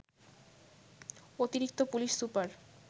অতিরিক্ত police super